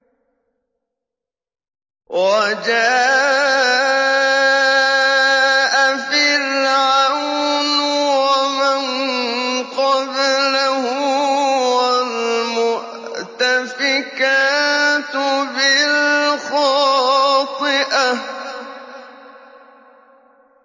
وَجَاءَ فِرْعَوْنُ وَمَن قَبْلَهُ وَالْمُؤْتَفِكَاتُ بِالْخَاطِئَةِ